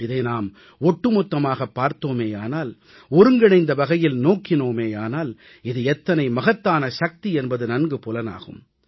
இதை நாம் ஒட்டுமொத்தமாகப் பார்த்தோமேயானால் ஒருங்கிணைந்த வகையில் நோக்கினோமேயானால் இது எத்தனை மகத்தான சக்தி என்பது நன்கு புலனாகும்